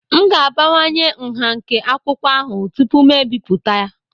M ga-abawanye nha nke akwụkwọ ahụ tupu m ebipụta